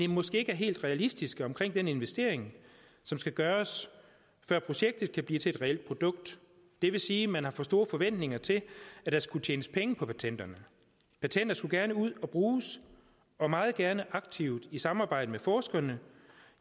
måske ikke er helt realistiske omkring den investering som skal gøres før projektet kan blive til et reelt produkt det vil sige at man har for store forventninger til at der skulle tjenes penge på patenterne patenter skulle gerne ud og bruges og meget gerne aktivt i samarbejde med forskerne